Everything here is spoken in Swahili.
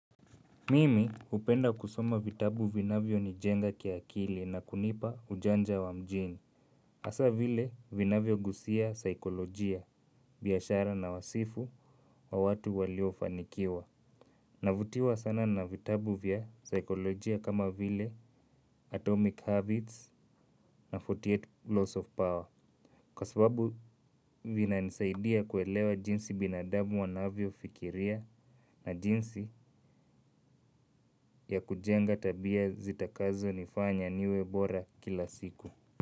Mimi upenda kusoma vitabu vinavyo nijenga kiakili na kunipa ujanja wa mjini. Asa vile vinavyo gusia saikolojia biyashara na wasifu wa watu walio fanikiwa. Navutiwa sana na vitabu vya saikolojia kama vile atomic habits na arobaini na nane loss of power. Kwa sababu vina nisaidia kuelewa jinsi binadamu wanavyo fikiria na jinsi ya kujenga tabia zitakazo nifanya niwe bora kila siku.